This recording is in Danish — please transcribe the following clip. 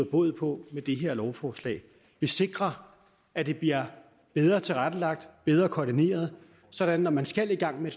bod på med det her lovforslag vi sikrer at det bliver bedre tilrettelagt bedre koordineret sådan at når man skal i gang med